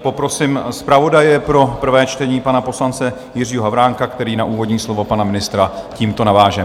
Poprosím zpravodaje pro první čtení, pana poslance Jiřího Havránka, který na úvodní slovo pana ministra tímto naváže.